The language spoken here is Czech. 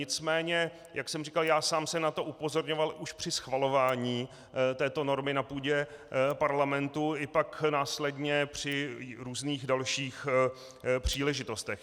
Nicméně jak jsem říkal, já sám jsem na to upozorňoval už při schvalování této normy na půdě Parlamentu i pak následně při různých dalších příležitostech.